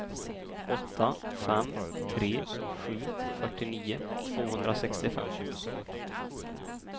åtta fem tre sju fyrtionio tvåhundrasextiofem